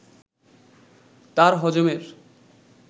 তার হজমের